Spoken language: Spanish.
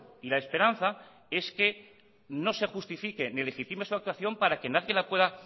y la esperanza es que no se justifique ni legitime su actuación para que nadie la pueda